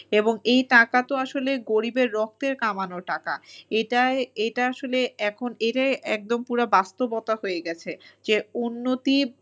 এবং এই টাকা তো আসলে গরিবের রক্তের কামানো টাকা এটাই এটা আসলে এখন এটাই একদম পুরা বাস্তবতা হয়ে গেছে যে উন্নতি